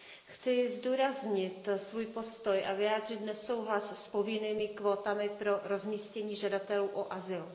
Chci zdůraznit svůj postoj a vyjádřit nesouhlas s povinnými kvótami pro rozmístění žadatelů o azyl.